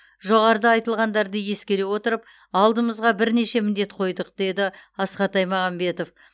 жоғарыда айтылғандарды ескере отырып алдымызға бірнеше міндет қойдық деді асхат аймағамбетов